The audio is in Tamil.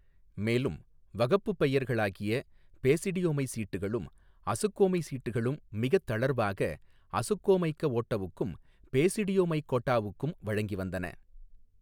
மேலும் வகப்புப் பெயர்களாகிய பேசிடியோமை சீட்டுகளும் அசுக்கோமை சீட்டுகளும் மிகத் தளர்வாக அசுக்கோமைக்கஓட்டவுக்கும் பேசிடியோமைக்கோட்டாவுக்கும் வழங்கி வந்தன.